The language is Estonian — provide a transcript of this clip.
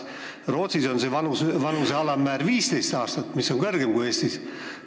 Rootsis on see vanuse alammäär 15 aastat, mis on kõrgem kui Eestis.